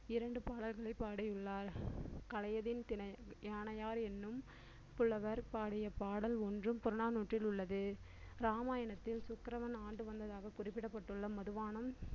இரண்டு பாடல்களை பாடியுள்ளார் கழைதின் தினை~ யானையார் என்னும் புலவர் பாடிய பாடல் ஒன்றும் புறநானூற்றில் உள்ளது ராமாயணத்தில் சுக்கிரவன் ஆண்டு வந்ததாக குறிப்பிடப்பட்டுள்ள மதுபானம்